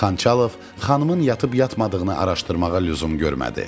Xançalov xanımın yatıb-yatmadığını araşdırmağa lüzum görmədi.